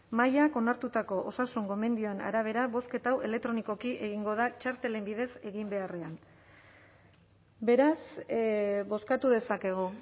mahaiak onartutako osasun gomendioen arabera bozketa hau elektronikoki egingo da txartelen bidez egin beharrean beraz bozkatu dezakegu